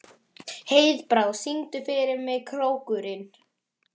Heiðbrá, syngdu fyrir mig „Krókurinn“.